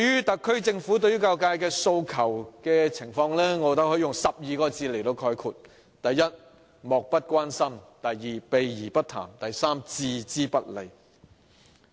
特區政府對教育界訴求的態度，我認為可以用12個字來概括：第一，漠不關心；第二，避而不談；第三，置之不理。